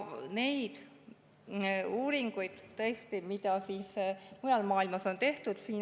Neid uuringuid, tõesti, on mujal maailmas tehtud.